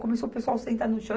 Começou o pessoal sentar no chão.